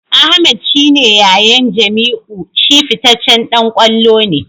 Ahmed shi ne yayan Jamiu; shi fitaccen dan kwallo ne.